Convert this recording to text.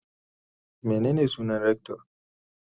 Menene sunan rector?